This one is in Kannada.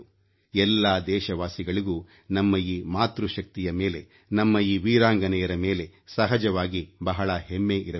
ಎಲ್ಲಾ ದೇಶವಾಸಿಗಳಿಗೂ ನಮ್ಮ ಈ ಮಾತೃಶಕ್ತಿಯ ಮೇಲೆ ನಮ್ಮ ಈ ವೀರಾಂಗನೆಯರ ಮೇಲೆ ಸಹಜವಾಗಿ ಬಹಳ ಹೆಮ್ಮೆ ಇರಬೇಕು